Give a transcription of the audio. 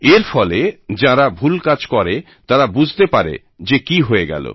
এর ফলে যারা ভুল কাজ করে তারা বুঝতে পারে যে কি হয়ে গেল